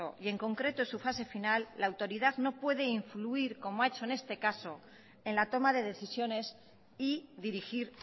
y en concreto en su fase final la autoridad no puede influir como ha hecho en este caso en la toma de decisiones y dirigir